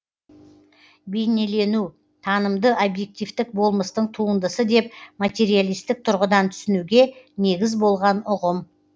бейнелену танымды объективтік болмыстың туындысы деп материалистік тұрғыдан түсінуге негіз болған ұғым